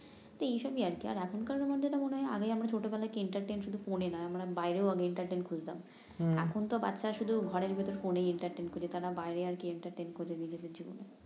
তো এইসবই আরকি আগে আমরা ছোটবেলায় শুধু ফোনে নয় আমরা বাহিরে আগে খুজতাম এখন তো বাচ্চারা শুধু ঘরের ভিতর ফোনেই খুজে তারা বাহিরে আর কি করবে নিজেদের জন্য